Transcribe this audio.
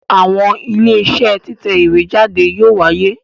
Àwọn Iléeṣẹ́ títẹ̀ ìwé jáde yóò wáyé